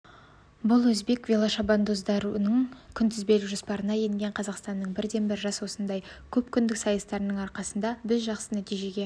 бұл өзбек велошабандоздарының күнтізбелік жоспарына енген қазақстандық бірден-бір жарыс осындай көпкүндік сайыстардың арқасында біз жақсы нәтижеге